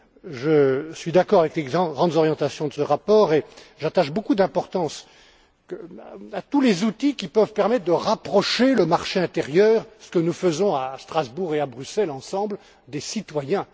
Je suis d'accord avec les grandes orientations de ce rapport et j'attache beaucoup d'importance à tous les outils qui peuvent permettre de rapprocher le marché intérieur ce que nous faisons à Strasbourg et à Bruxelles ensemble des citoyens.